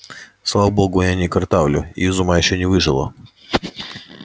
слава богу я не картавлю и из ума ещё не выжила